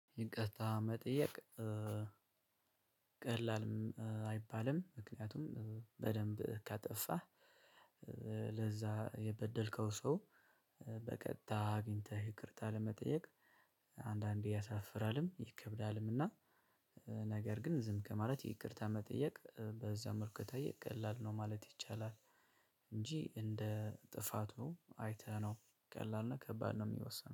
ይቅርታ መጠየቅ ቀላልም አይባልም ምክንያቱም በደንብ ካጠፋህ ለዛ የበደልከው ሰው። በቀጥታ አግኝተህ ይቅርታ ለመጠየቅ አንዳንዴ ያሳፍራልም ይከብዳልም። እና ነገር ግን ዝም ከማለት ይቅርታ መጠየቅ በዘመድ ከጠየቅክ ቀላል ነው ማለት ይቻላል። እንጂ እንደ ጥፋቱ አይተህ ነው ቀላል ነው ከባድ ነው የሚወሰነው